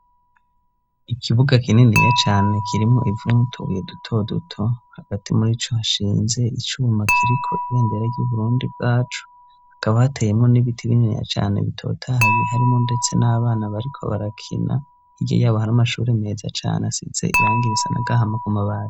Ikibuga kininiya cane kirimwo ivu n'utubuye duto duto, hagati murico hashinze icuma kiriko ibendera ry'u Burundi bwacu, hakaba hateyemwo n'ibiti bininiya cane bitotahaye, harimwo ndetse n'abana bariko barakina, hirya yabo hari amashure meza cane asize irangi risa n'agahama ku mabati.